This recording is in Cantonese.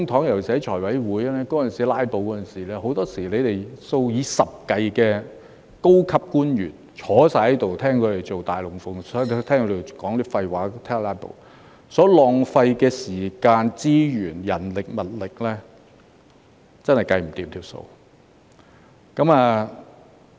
尤其是財務委員會出現"拉布"的當時，很多時候，你們數以十計的高級官員坐在這裏看他們做"大龍鳳"，聽他們說廢話和"拉布"，所浪費的時間、資源、人力物力，真是無法估算。